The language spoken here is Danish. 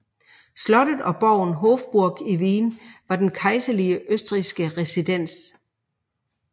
Slottet og borgen Hofburg i Wien var den kejserlige østrigske residens